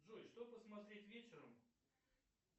джой что посмотреть вечером